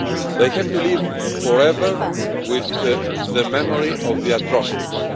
They have to live forever with the memory of the atrocities.